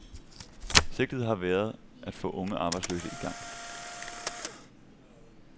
Sigtet har været at få unge arbejdsløse i gang.